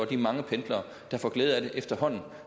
de mange pendlere der får glæde af det efterhånden